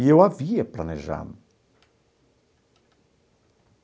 E eu havia planejado.